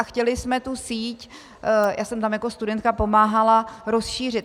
A chtěli jsme tu síť - já jsem tam jako studentka pomáhala - rozšířit.